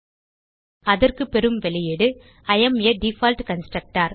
அதற்கு பெறும் வெளியீடு இ ஏஎம் ஆ டிஃபால்ட் கன்ஸ்ட்ரக்டர்